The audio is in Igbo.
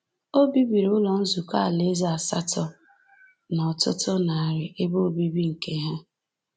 O bibiri Ụlọ Nzukọ Alaeze asatọ na ọtụtụ narị ebe obibi nke Ha.